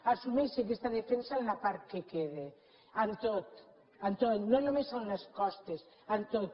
assumeixi aquesta defensa en la part que queda en tot en tot no només en les costes en tot